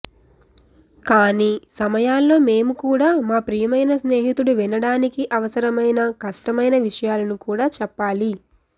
కానీ సమయాల్లో మేము కూడా మా ప్రియమైన స్నేహితుడు వినడానికి అవసరమైన కష్టమైన విషయాలను కూడా చెప్పాలి